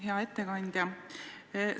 Hea ettekandja!